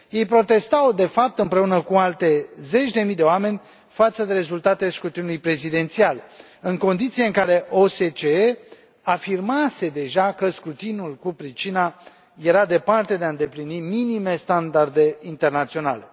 Ei protestau, de fapt, împreună cu alte zeci de mii de oameni, față de rezultatele scrutinului prezidențial, în condițiile în care OSCE afirmase deja că scrutinul cu pricina era departe de a îndeplini minime standarde internaționale.